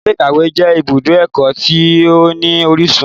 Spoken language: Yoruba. Ilé-ìkawe jẹ ìbùdó ẹkọ tí o ní orísun.